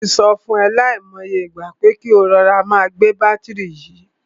Mo ti sọ fún e lai mo iye ìgbà, pé kí o máa rọra gbé bátìrì yìí.